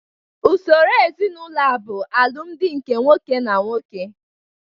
Usoro ezinaụlọ a bụ alụmdi nke nwoke na nwoke